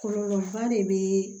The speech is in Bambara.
Kɔlɔlɔba de bɛ